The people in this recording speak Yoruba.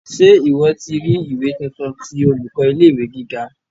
Ṣe ìwọ́ ti ri ìwé tuntun ti olùkọ́ ilé ìwé gíga?